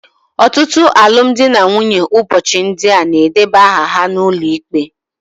Ọtụtụ alụmdi na nwunye ụbọchị ndị a na-edeba aha ha n'ụlọ ikpe